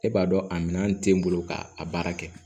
E b'a dɔn a minɛn tɛ n bolo k'a baara kɛ